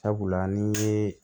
Sabula ni ye